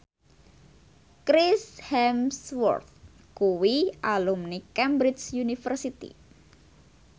Chris Hemsworth kuwi alumni Cambridge University